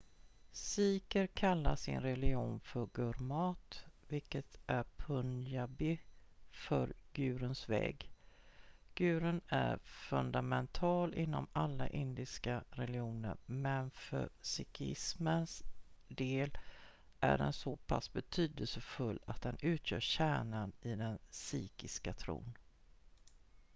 "sikher kallar sin religion för gurmat vilket är punjabi för "guruns väg"". gurun är fundamental inom alla indiska religioner men för sikhismens del är den så pass betydelsefull att den utgör kärnan i den sikhiska tron.